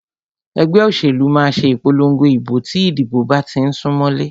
Ẹgbẹ́ òṣèlú máà ṣe ìpòlongo ìbò tí ìdìbò bá tí ń sún mọlé.